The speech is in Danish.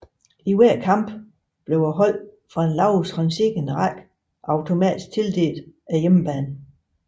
I hver kamp blev holdet fra den lavest rangerende række automatisk tildelt hjemmebane